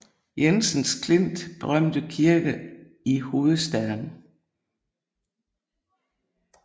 Jensen Klints berømte kirke i hovedstaden